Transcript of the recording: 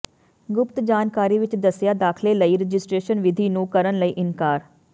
ਗੁਪਤ ਜਾਣਕਾਰੀ ਵਿੱਚ ਦੱਸਿਆ ਦਾਖਲੇ ਲਈ ਰਜਿਸਟਰੇਸ਼ਨ ਵਿਧੀ ਨੂੰ ਕਰਨ ਲਈ ਇਨਕਾਰ